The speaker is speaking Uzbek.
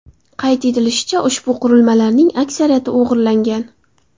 Qayd etilishicha, ushbu qurilmalarning aksariyati o‘g‘irlangan.